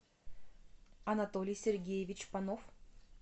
анатолий сергеевич панов